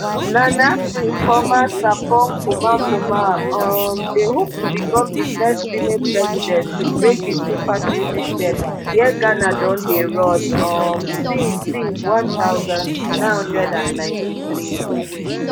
nana frimpomaa sarpong kumankumah um dey hope to become di first female president to break di two party system wia ghana don dey run um since since one thousand, nine hundred and ninety-three